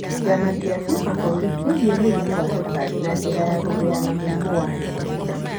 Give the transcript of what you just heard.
Kĩama kĩa kĩbũrũri kĩgie mũrimũ wa cukari na njĩra gũthĩa na mũrimũ wa higo.